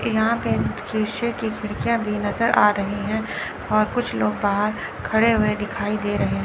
यहां पर शीशे की खिड़कियां भी नजर आ रही है और कुछ लोग बाहर खड़े हुए दिखाई दे रहे हैं।